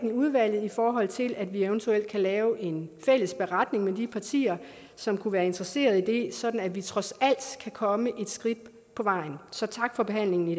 i udvalget i forhold til at vi eventuelt kan lave en fælles beretning med de partier som kunne være interesseret i det sådan at vi trods alt kan komme et skridt på vejen så tak for behandlingen i